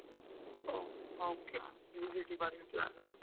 ಹೊ, okay . PGCET ಬರಿವ plan ಆ?